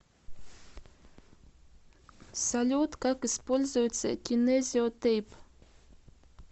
салют как используется кинезио тейп